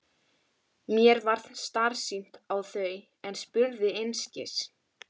Mér varð starsýnt á þau en spurði einskis.